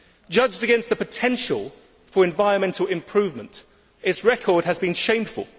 Judged against the potential for environmental improvement, its record has been shameful.